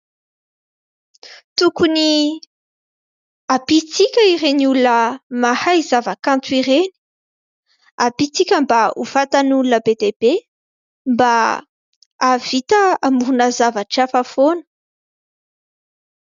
Tokony ampiantsika ireny olona mahay zavakanto ireny, ampiantsika mba ho fantatr' olona be dia be mba hahavita hamorona zavatra hafa foana.